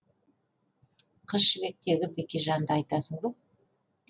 қыз жібектегі бекежанды айтасың ба